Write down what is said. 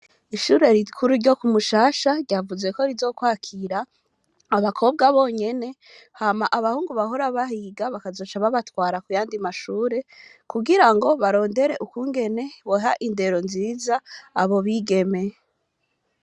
Ishure rikuru ryo kumushasha ryavuzeko rizokwakira abakobwa bonyine hama abahungu bahora bahiga bakazoca babatwara ku yandi mashure kugira ngo barondere ukungene boha indero nziza abo bigeme.